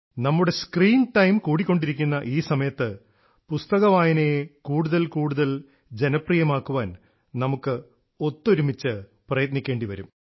നമ്മുടെ screen time കൂടിക്കൊണ്ടിരിക്കുന്ന ഈ സമയത്ത് പുസ്തകവായനയെ കൂടുതൽ കൂടുതൽ ജനപ്രിയമാക്കാൻ നമുക്ക് ഒത്തൊരുമിച്ച് പ്രയത്നിക്കേണ്ടിവരും